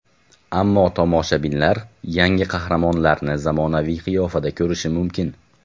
Ammo tomoshabinlar yangi qahramonlarni zamonaviy qiyofada ko‘rishi mumkin.